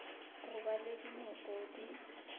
go ba le dinoko di